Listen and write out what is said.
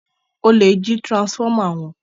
olè jí transformer wón